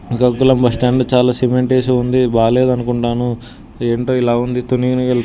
Srikakulam bus stand చాలా cement వేసి ఉంది. బాలేదనుకుంటాను ఏంటో ఇలా ఉంది.